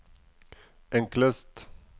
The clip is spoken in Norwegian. enklest